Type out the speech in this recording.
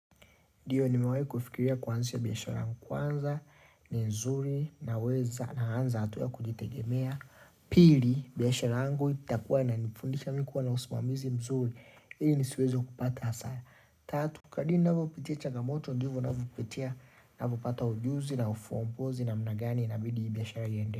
Ndiyo nimewai kufikiria kuanzisha biyashara kwanza ni mzuri naweza naanza hatua wa kujitegemea Pili biyashara angu itakuwa inanifundisha mi kuwa na usumamizi mzuri ili ni siweze kupata hasara Tatu Kadri navopitia chagamoto ndivo navopitia navopata ujuzi na ufuangozi namnagani inabidi biyashara iyende.